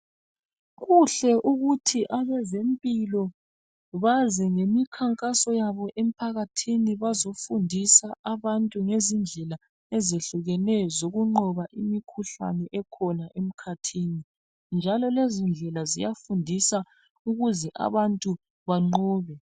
Kuhle ukuthi abezempilo bazi ngemikhankaso yabo emphakathini bazofundisa abantu ngezindlela ezehlukeneyo zokunqoba imikhuhlane ekhona emkhathini njalo lezindlela ziyafundisa ukuze abantu banqobe.